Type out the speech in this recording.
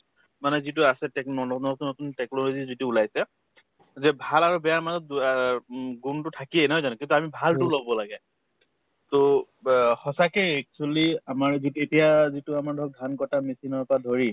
মানে যিটো আছে techno নতুন নতুন technology যিটো ওলাইছে যে ভাল আৰু বেয়াৰ মাজত উম গুণতো থাকিয়ে নহয় জানো কিন্তু আমি ভালতো লব লাগে to ব সঁচাকে actually আমাৰ যিত এতিয়া যিটো আমাৰ ধৰক ধান কটা machine ৰ পৰা ধৰি